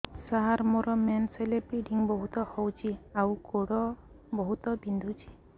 ସାର ମୋର ମେନ୍ସେସ ହେଲେ ବ୍ଲିଡ଼ିଙ୍ଗ ବହୁତ ହଉଚି ଆଉ ଗୋଡ ବହୁତ ବିନ୍ଧୁଚି